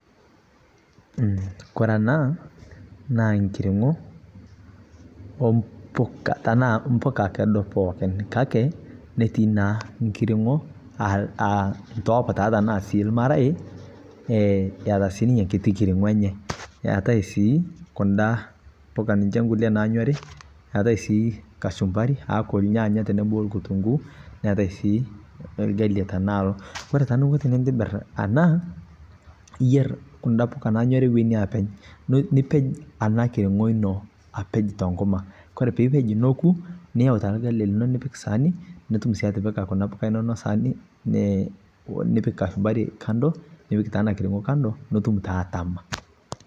Koree ena na nkiringo ompuk tanaa mpuka kedo pookin kake, netii naa nkitingo aa ntoopita tana sii ormarei eata sinye enkiti kiringo enye neata sii kuna puka kunda kulie naanyori, eatai si kachumbari aaku irnyanya teneboo okitunguu neatae sii orgali anaa iyer tananyori yi openynipej enakiringo ino tenkima, ore pipej tonkuk niyau taa orgali lino nipik saani nitum si atipika kuna puka inonok saani nipik kachumbari kando nipik taa enakiringo ino nitum taa atama.